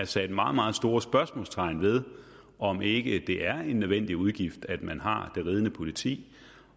sat meget meget store spørgsmålstegn ved om ikke det er en nødvendig udgift at man har det ridende politi